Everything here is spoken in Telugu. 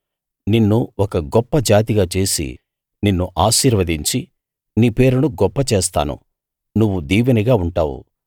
నిన్ను ఒక గొప్ప జాతిగా చేసి నిన్ను ఆశీర్వదించి నీ పేరును గొప్పచేస్తాను నువ్వు దీవెనగా ఉంటావు